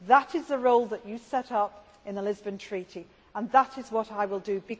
That is the role that you set up in the Lisbon Treaty and that is what I will do.